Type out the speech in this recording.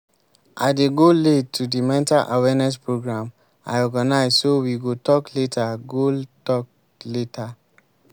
i dey go late to the mental awareness program i organize so we go talk later go talk later